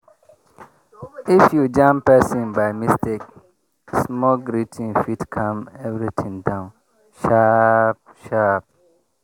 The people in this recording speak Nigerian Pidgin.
if you jam person by mistake small greeting fit calm everything down sharp sharp.